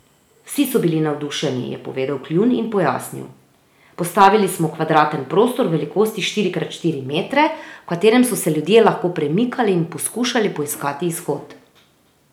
Vsi so bili navdušeni, je povedal Kljun, in pojasnil: 'Postavili smo kvadraten prostor velikosti štiri krat štiri metre, v katerem so se ljudje lahko premikali in poskušali poiskati izhod.